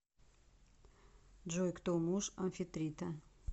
джой кто муж амфитрита